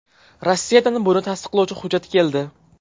Rossiyadan buni tasdiqlovchi hujjat keldi.